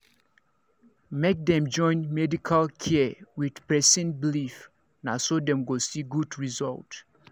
make dem join medical care with person believe na so dem go see good result